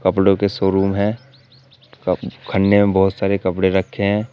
कपड़ों के शोरूम है क खन्ने में बहोत सारे कपड़े रखे हैं।